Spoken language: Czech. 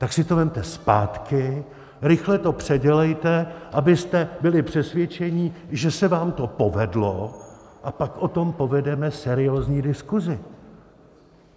Tak si to vezměte zpátky, rychle to předělejte, abyste byli přesvědčení, že se vám to povedlo, a pak o tom povedeme seriózní diskuzi.